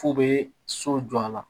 F'u bɛ so jɔ a la